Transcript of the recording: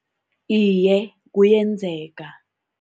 Iye, kuyenzeka.